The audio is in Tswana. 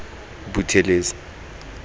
buthelezi